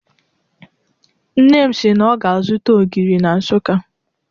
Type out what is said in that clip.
Nne m si na ọ ga-azụta ogiri na Nsụka.